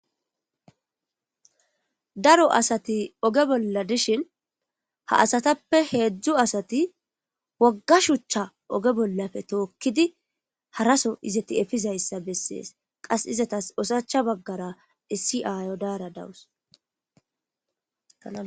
Daro asati oge bolla dishin ha asatappe hedzu asati wogga shucha oge bollappe tookidi hara so izeti efizayssa besees qas izetas oshachcha baggara issi ayyo dayra dawus.